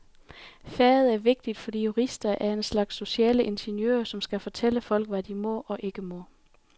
Faget er vigtigt, fordi jurister er en slags sociale ingeniører, som skal fortælle folk, hvad de må og ikke må.